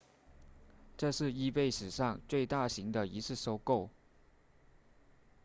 这是 ebay 史上最大型的一次收购